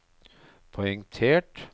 poengtert